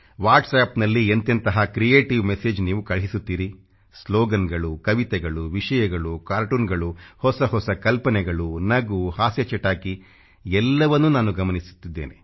WHATSAPPನಲ್ಲಿ ಎಂತೆಂಥ creative message ನೀವು ಕಳುಹಿಸುತ್ತೀರಿ SLOGANಗಳು ಕವಿತೆಗಳು ವಿಷಯಗಳು CARTOONಗಳು ಹೊಸ ಹೊಸ ಕಲ್ಪನೆಗಳು ನಗು ಹಾಸ್ಯ ಚಟಾಕಿ ಎಲ್ಲವನ್ನೂ ನಾನು ಗಮನಿಸುತ್ತಿದ್ದೇನೆ